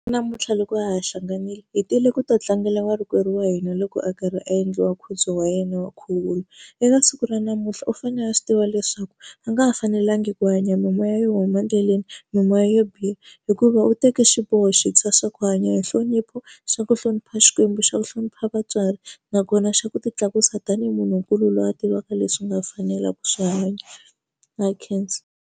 Namuntlha loko a ha ha hlanganile hi tile ku ta tlangela warikwerhu wa hina loko a karhi a endliwa nkhuvo wa yena wa nkhuvulo eka siku ra namuntlha u fane a swi tiva leswaku a nga ha fanelanga ku hanya mimoya yo huma endleleni mimoya yo yo biha hikuva u teke xiboho xintshwa xa ku hanya hi nhlonipho xa ku hlonipha xikwembu xa ku hlonipha vatswari nakona xa ku ti tlakusa tanihi munhu nkulu loyi a tivaka leswi u nga fanelaku swi hanya na khensa.